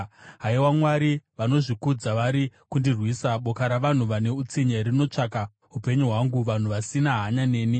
Haiwa Mwari, vanozvikudza vari kundirwisa; boka ravanhu vane utsinye rinotsvaka upenyu hwangu, vanhu vasina hanya nemi.